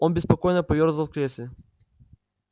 он беспокойно поёрзал в кресле